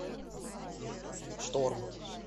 шторм